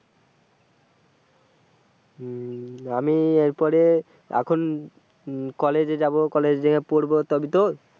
আমি এরপরে এখন কলেজে যাব কলেজে যেয়ে পড়বো তবেই তো,